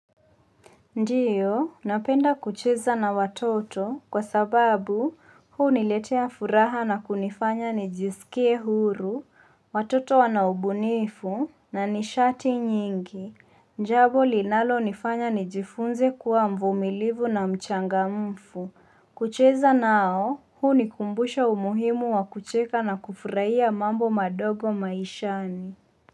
Ndio, napenda kucheza na watoto, kwa sababu huuniletea furaha na kunifanya nijisikie huru, watoto wana ubunifu, na nishati nyingi, jambo linalonifanya nijifunze kuwa mvumilivu na mchangamfu, kucheza nao hunikumbusha umuhimu wa kucheka na kufurahia mambo madogo maishani.